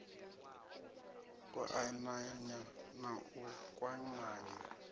u ananya na u kwamanya